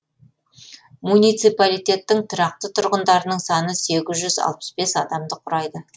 муниципалитеттің тұрақты тұрғындарының саны сегіз жүз алпыс бес адамды құрайды